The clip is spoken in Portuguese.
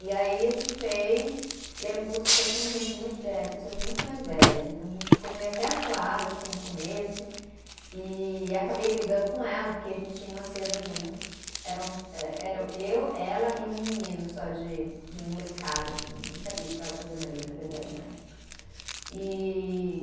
E aí a gente fez, e era um curso que só tinham gente muito, eh pessoas muito mais velhas, então a gente ficou meio até acuada assim no começo, e acabei brigando com ela, porque a gente tinha uma cena juntos, era um, eh era eu, ela e um menino só de de molecada, que nem sabia o que estava fazendo ali na verdade, na época. E